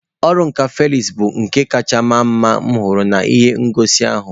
Ọrụ nka Felix bụ nka kacha mara mma m hụrụ n'ihe ngosi ahụ